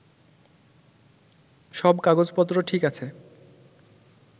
সব কাগজপত্র ঠিক আছে